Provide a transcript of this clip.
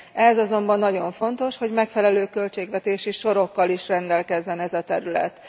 Ehhez azonban nagyon fontos, hogy megfelelő költségvetési sorokkal is rendelkezzen ez a terület.